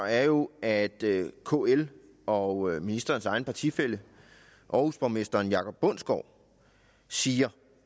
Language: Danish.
er jo at kl og ministerens egen partifælle aarhusborgmester jakob bundsgaard siger